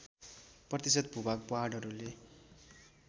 प्रतिशत भूभाग पहाडहरूले